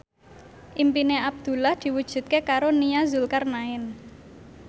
impine Abdullah diwujudke karo Nia Zulkarnaen